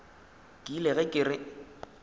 ke ile ge ke re